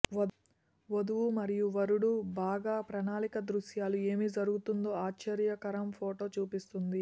వధువు మరియు వరుడు బాగా ప్రణాళిక దృశ్యాలు ఏమి జరుగుతుందో ఆశ్చర్యకరం ఫోటో చూపిస్తుంది